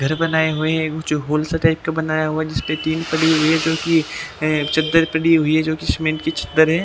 और नीचे आप देख सकते हैं कुछ गमलों में और कुछ पनीर में बहुत सारे पौधे लगाए गए हैं।